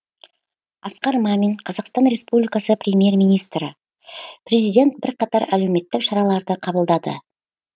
асқар мамин қазақстан республикасы премьер министрі президент бірқатар әлеуметтік шараларды қабылдады